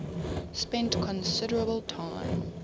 spent considerable time